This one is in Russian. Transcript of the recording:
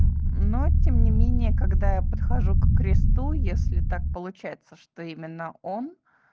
но тем не менее когда я подхожу к кресту если так получается что именно он